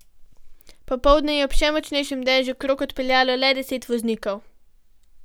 Popoldne je ob še močnejšem dežju krog odpeljalo le deset voznikov.